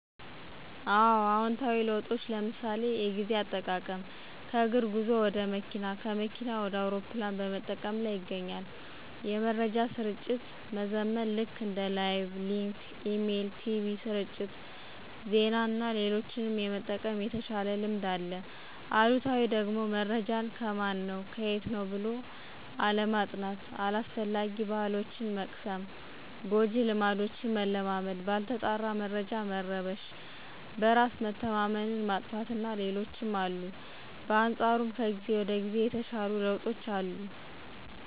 አወ። አዎንታዊ ለውጦች ለምሣሌ፦ ጊዜ አጠቃቀም ከእግር ጉዞ ወደ መኪና፣ አውሮፕላን በመጠቀም ላይ ይገኛል። የመረጃ ስርጭት መዘመን ልክ እንደ ላይቭ፣ ሊንክ፣ ኢሜል፣ ቲቪ ስርጭት፣ ዜና እና ሌሎችም የመጠቀም የተሻለ ልምድ አለ። አሉታዊው ደግሞመረጃን ከማን ነው ከየት ነው ብሎ አለማጥናት። አላስፈላጊ ባሕሎችን መቅሰም፣ ጎጂ ልማዶችን መለማመድ፣ ባልተጣራ መረጃ መረበሽ፣ በራስ መተማመን መጥፋት እና ሌሎችም አሉ። በአንፃሩም ከጊዜ ወደ ጊዜ የተሻሉ ለውጦች አሉ።